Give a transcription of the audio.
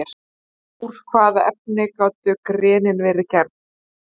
En úr hvaða efni gátu genin verið gerð?